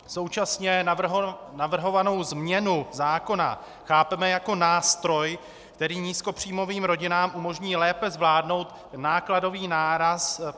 Současně navrhovanou změnu zákona chápeme jako nástroj, který nízkopříjmovým rodinám umožní lépe zvládnout nákladový náraz.